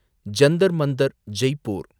Jantar Mantar, Jaipur